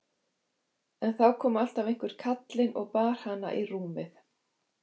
En þá kom alltaf einhver kallinn og bar hana í rúmið.